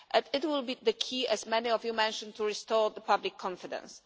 It will be the key, as many of you mentioned, to restoring public confidence.